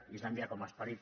islàndia com a esperit